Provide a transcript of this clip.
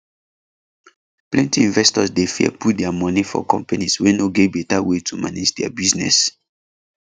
plenty investors dey fear put their moni for companies wey no get better way to manage their business